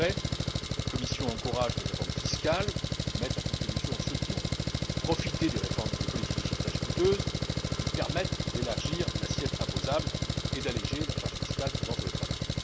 En effet, la Commission encourage des réformes fiscales qui mettent à contribution ceux qui ont profité des politiques de sauvetage coûteuses et qui permettent d'élargir l'assiette imposable et d'alléger la charge fiscale pesant sur le travail.